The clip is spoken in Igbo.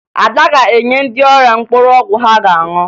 Ada ga-enye ndị ọrịa mkpụrụ ọgwụ ha ga-aṅụ